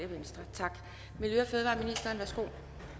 tak for